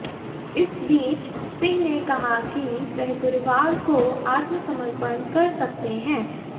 इस बीच सिंह ने कहा कि वह गुरुवार को आत्मसमर्पण कर सकते हैं